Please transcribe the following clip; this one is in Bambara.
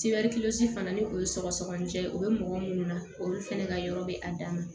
fana ni o ye sɔgɔsɔgɔni jɛ ye o bɛ mɔgɔ minnu na olu fɛnɛ ka yɔrɔ bɛ a dama